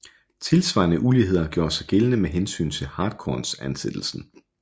Tilsvarende uligheder gjorde sig gældende med hensyn til hartkornsansættelsen